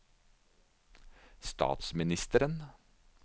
statsministeren